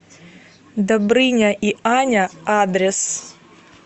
добрыня и аня адрес